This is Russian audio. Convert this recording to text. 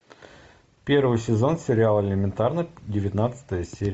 первый сезон сериал элементарно девятнадцатая серия